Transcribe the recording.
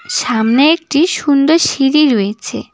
সামনে একটি সুন্দর সিঁড়ি রয়েছে।